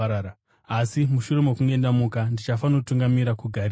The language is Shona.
Asi mushure mokunge ndamuka, ndichafanotungamira kuGarirea.”